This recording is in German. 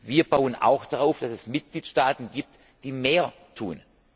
Wir bauen auch darauf, dass es Mitgliedstaaten gibt, die mehr tun.